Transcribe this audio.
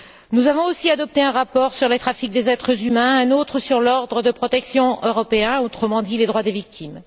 Nous avons aussi adopté un rapport sur le trafic des êtres humains, un autre sur l'ordre de protection européen, autrement dit les droits des victimes.